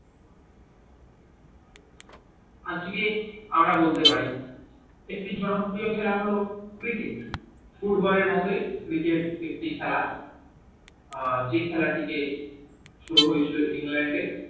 আজকে আমরা বলতে পারি যে একটি জনপ্রিও খেলা হল cricket football এর আগে cricket একটি খেলা আহ যে খেলাটি শুরু হয়েছিল England এ